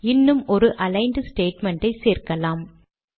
இன்னும் ஒரு aligned statement ஐ சேர்க்கலாம்